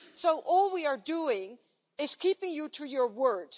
So all we are doing is keeping you to your word.